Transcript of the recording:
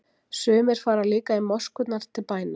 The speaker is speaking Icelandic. sumir fara líka í moskurnar til bæna